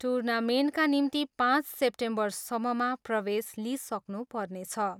टुर्नामेन्टका निम्ति पाँच सेप्टेम्बरसम्ममा प्रवेश लिइसक्नु पर्नेछ।